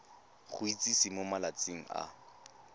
go itsise mo malatsing a